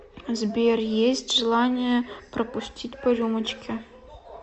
сбер есть желание пропустить по рюмочке